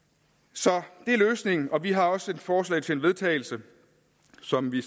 så det er løsningen vi har også et forslag til vedtagelse som vi